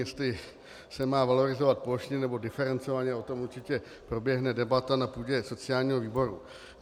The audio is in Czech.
Jestli se má valorizovat plošně, nebo diferencovaně, o tom určitě proběhne debata na půdě sociálního výboru.